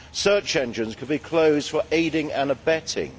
Search engines could be closed for aiding and abetting.